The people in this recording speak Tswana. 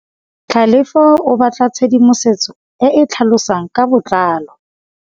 Tlhalefô o batla tshedimosetsô e e tlhalosang ka botlalô.